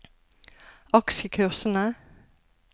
aksjekursene